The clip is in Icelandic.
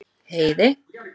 Heiði